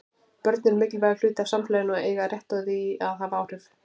Börn eru mikilvægur hluti af samfélaginu og eiga rétt á því að hafa áhrif.